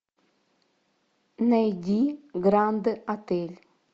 найди гранд отель